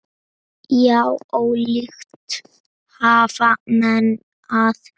Já, ólíkt hafast menn að.